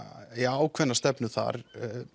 ákveðna stefnu þar